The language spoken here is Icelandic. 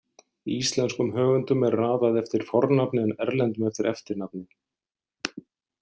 Íslenskum höfundum er raðað eftir fornafni en erlendum eftir eftirnafni.